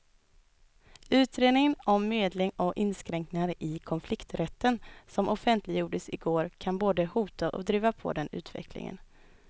Utredningen om medling och inskränkningar i konflikträtten som offentliggjordes i går kan både hota och driva på den utvecklingen.